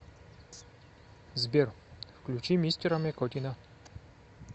сбер включи мистера мякотина